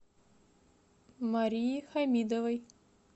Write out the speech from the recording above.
марии хамидовой